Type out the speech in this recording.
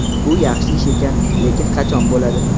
Bu yaxshi ish ekan, lekin qachon bo‘ladi?